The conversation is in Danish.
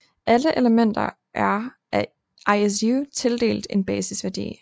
Alle elementer er af ISU tildelt en basisværdi